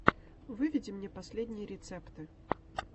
выведи мне последние рецепты